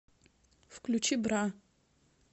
включи бра